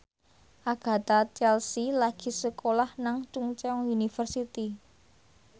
Agatha Chelsea lagi sekolah nang Chungceong University